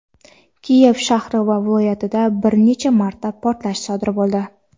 Kiyev shahri va viloyatida bir necha marta portlash sodir bo‘ldi.